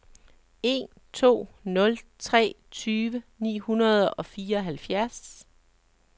en to nul tre tyve ni hundrede og fireoghalvfjerds